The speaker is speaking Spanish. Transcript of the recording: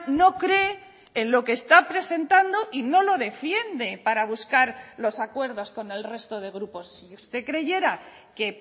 no cree en lo que está presentando y no lo defiende para buscar los acuerdos con el resto de grupos si usted creyera que